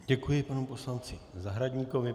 Děkuji panu poslanci Zahradníkovi.